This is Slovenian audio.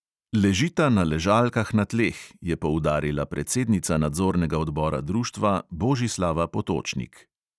"Ležita na ležalkah na tleh," je poudarila predsednica nadzornega odbora društva božislava potočnik.